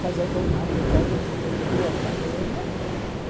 Casei com um arquiteto que fez boa carreira.